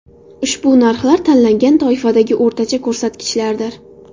Ushbu narxlar tanlangan toifadagi o‘rtacha ko‘rsatkichlardir.